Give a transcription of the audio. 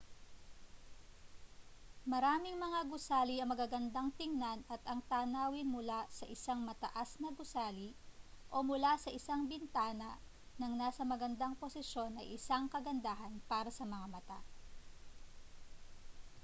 maraming mga gusali ang magagandang tingnan at ang tanawin mula sa isang mataas na gusali o mula sa isang bintana na nasa magandang posisyon ay isang kagandahan para sa mga mata